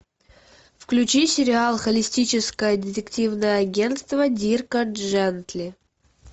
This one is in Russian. включи сериал холистическое детективное агентство дирка джентли